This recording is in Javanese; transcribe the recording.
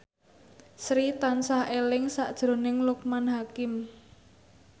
Sri tansah eling sakjroning Loekman Hakim